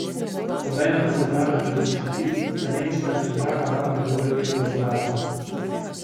Obenem pa se je branil pred očitki, da nemška centralna banka deluje evru sovražno.